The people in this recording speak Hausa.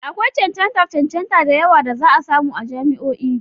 Akwai cancantar cancanta da yawa da za a samu a jami'o'i.